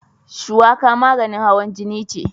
Shuwaka maganin hawan jini ce.